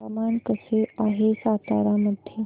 हवामान कसे आहे सातारा मध्ये